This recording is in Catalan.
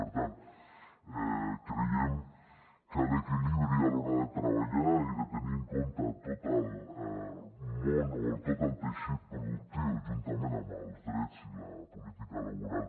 per tant creiem que l’equilibri a l’hora de treballar i de tenir en compte tot el món o tot el teixit productiu juntament amb els drets i la política laboral